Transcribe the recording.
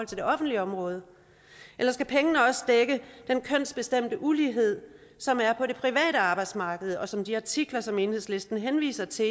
det offentlige område eller skal pengene også dække den kønsbestemte ulighed som er på det private arbejdsmarked og som de artikler som enhedslisten henviser til